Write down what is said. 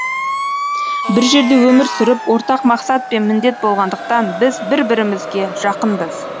бір жерде өмір сүріп ортақ мақсат пен міндет болғандықтан біз бір бірімізге жақынбыз